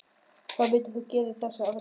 Hvað myndir þú gera í þessari aðstöðu?